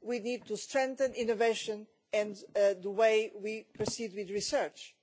we need to strengthen innovation and the way we proceed with research.